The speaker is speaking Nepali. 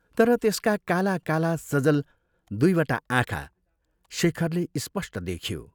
तर त्यसका काला काला सजल दुइवटा आँखा शेखरले स्पष्ट देख्यो।